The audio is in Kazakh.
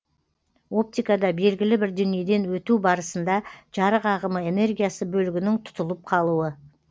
оптикада белгілі бір денеден өту барысында жарық ағымы энергиясы бөлігінің тұтылып қалуы